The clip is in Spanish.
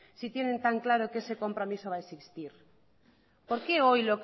si tienen tan claro que ese compromiso va a existir por qué hoy